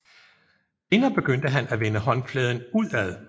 Senere begyndte han at vende håndfladen udad